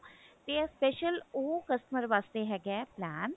ਤੇ ਇਹ special ਉਹ customer ਵਾਸਤੇ ਹੈਗਾ plan